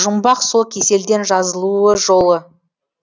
жұмбақ сол кеселден жазылу жолы